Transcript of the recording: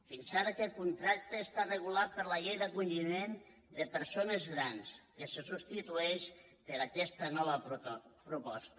fins ara aquest contracte està regulat per la llei d’acolliment de persones grans que se substitueix per aquesta nova proposta